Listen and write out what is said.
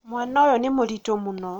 mwana ũyũ nĩ mũritũ mũno